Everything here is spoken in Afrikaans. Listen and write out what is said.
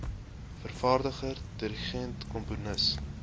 vervaardiger dirigent komponis